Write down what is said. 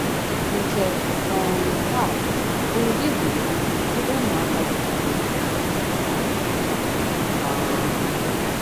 Nke um a bụ ụdị gburugburu ebe ụmụaka dị ka anyị toro. um